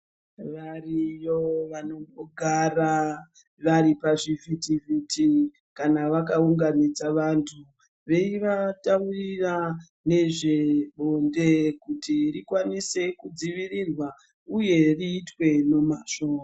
Variyo vanongogara vari pazvivhitivhiti kana vakaunganidza vanthu veivataurira nezvebonde kuti rikwanise kudzivirirwa uye riitwe nemazvo.